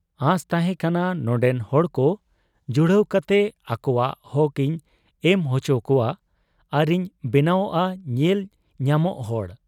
ᱟᱸᱥ ᱛᱟᱦᱮᱸ ᱠᱟᱱᱟ ᱱᱚᱱᱰᱮ ᱦᱚᱲᱠᱚ ᱡᱩᱦᱲᱟᱹᱣ ᱠᱟᱛᱮ ᱟᱠᱚᱣᱟᱜ ᱦᱚᱠ ᱤᱧ ᱮᱢ ᱚᱪᱚᱠᱚᱣᱟ ᱟᱨᱤᱧ ᱵᱮᱱᱟᱣᱜ ᱟ ᱧᱮᱞ ᱧᱟᱢᱚᱜ ᱦᱚᱲ ᱾